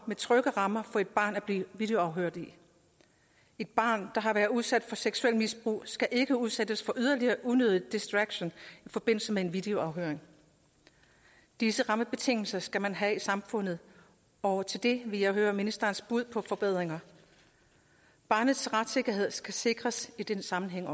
trygge rammer for et barn at blive videoafhørt i et barn der har været udsat for seksuelt misbrug skal ikke udsættes for yderligere unødig distraktion i forbindelse med en videoafhøring disse rammebetingelser skal man have i samfundet og til det vil jeg høre ministerens bud på forbedringer barnets retssikkerhed skal også sikres i den sammenhæng